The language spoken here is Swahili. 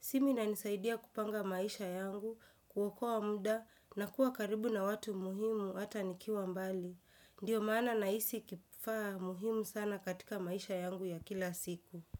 Simu inanisaidia kupanga maisha yangu, kuokoa muda na kuwa karibu na watu muhimu hata nikiwa mbali. Ndiyo maana nahisi kifaa muhimu sana katika maisha yangu ya kila siku.